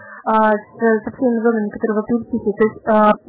первокурсники